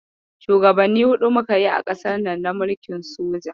Shugabanni huɗu muka yi a ƙasarnan na mulkin soja.